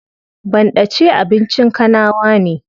Banɗace abincin kanawa ne.